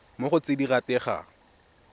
mo go tse di rategang